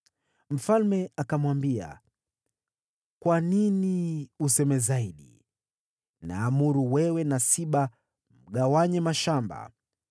Mfalme akamwambia, “Kwa nini useme zaidi? Naamuru wewe na Siba mgawanye mashamba.”